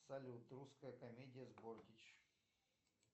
салют русская комедия с бортич